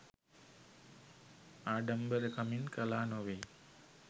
ආඩම්බරකමින් කළා නොවෙයි.